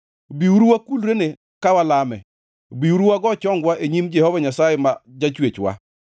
Biuru wakulrene ka walame, biuru wago chongwa e nyim Jehova Nyasaye ma Jachwechwa;